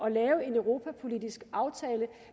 at lave en europapolitisk aftale